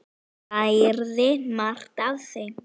Ég lærði margt af þeim.